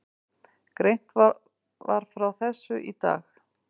Greint var frá þessu í dag